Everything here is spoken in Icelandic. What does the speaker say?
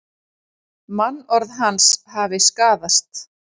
Mannorð hans hafi skaðast